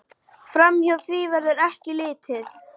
Framhjá því verður ekki litið.